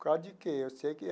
Por causa de quê? Eu sei que é.